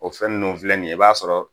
O fɛn ninnu filɛ nin ye i b'a sɔrɔ,